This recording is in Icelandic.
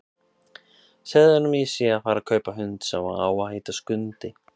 Segðu honum að ég sé að fara að kaupa hund sem á að heita Skundi!